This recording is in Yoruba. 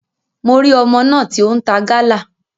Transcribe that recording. Mo ri ọmọ náà ti o n ta Gala.